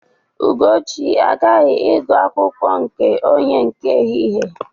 Ugochi agaghiị ịgụ akwụkwọ nke onye nke ehihe.